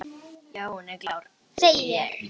Já, hún er klár, segi ég.